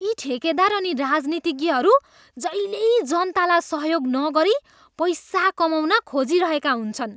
यी ठेकेदार अनि राजनीतिज्ञहरू जहिल्यै जनतालाई सहयोग नगरी पैसा कमाउन खोजिरहेका हुन्छन्।